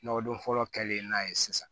Nɔgɔ don fɔlɔ kɛlen n'a ye sisan